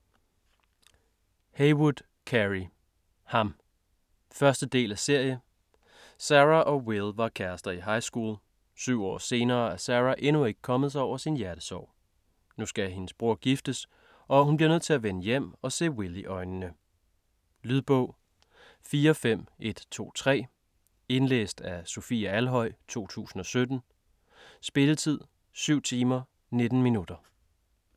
Heywood, Carey: Ham 1. del af serie. Sarah og Will var kærester i highschool. 7 år senere er Sarah endnu ikke kommet sig over sin hjertesorg. Nu skal hendes bror giftes og hun bliver nødt til at vende hjem og se Will i øjnene. Lydbog 45123 Indlæst af Sofie Alhøj, 2017. Spilletid: 7 timer, 19 minutter.